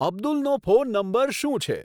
અબ્દુલનો phone number શું છે